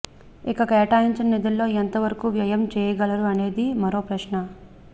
ఇక కేటాయించిన నిధుల్లో ఎంత వరకు వ్యయం చేయగలరు అనేది మరో ప్రశ్న